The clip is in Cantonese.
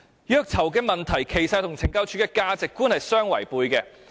虐囚問題其實與懲教署的價值觀相違背。